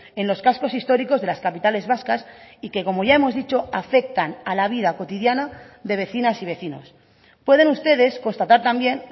en los cascos históricos de las capitales vascas y que como ya hemos dicho afectan a la vida cotidiana de vecinas y vecinos pueden ustedes constatar también